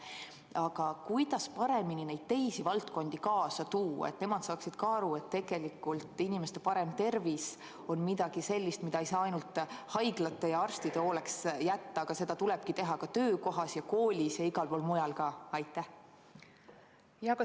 Aga kuidas paremini neid teisi valdkondi kaasa tuua, et nemad saaksid ka aru, et inimeste parem tervis on midagi sellist, mida ei saa ainult haiglate ja arstide hooleks jätta, et seda tuleb teha ka töökohas, koolis ja igal pool mujal?